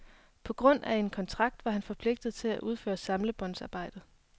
På grund af en kontrakt var han forpligtet til at udføre samlebåndsarbejde.